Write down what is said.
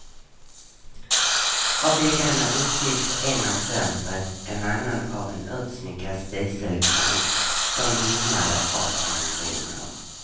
Av väggarna upptogs en av fönstret, en annan av en utsmyckad spiselkrans som vimlade av amoriner.